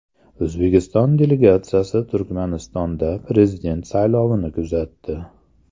O‘zbekiston delegatsiyasi Turkmanistonda prezident saylovini kuzatdi.